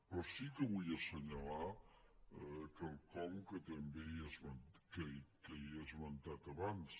però sí que vull assenyalar quelcom que també he esmentat abans